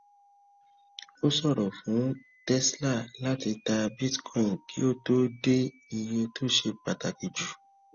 ó ṣòro fún tesla láti ta bitcoin kí ó tó dé iye tó ṣe pàtàkì jù